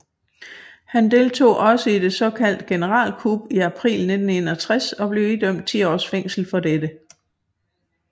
Han deltog også i det såkaldte generalkup i april 1961 og blev idømt 10 års fængsel for dette